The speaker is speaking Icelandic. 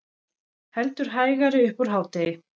Heldur hægari upp úr hádegi